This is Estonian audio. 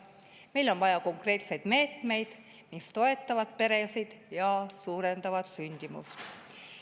Meil on vaja konkreetseid meetmeid, mis toetavad peresid ja suurendavad sündimust.